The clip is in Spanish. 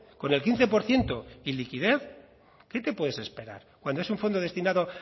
con el quince por ciento y liquidez qué te puedes esperar cuando es un fondo destinado